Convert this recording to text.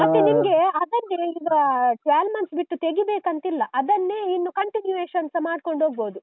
ಮತ್ತೆ ನಿಮ್ಗೆ ಅದಲ್ಲದೆ ಈಗ twelve months ಬಿಟ್ಟು ತೆಗಿಬೇಕಂತಿಲ್ಲ. ಅದನ್ನೇ ಇನ್ನು continuation ಮಾಡ್ಕೊಂಡು ಹೋಗ್ಬೋದು.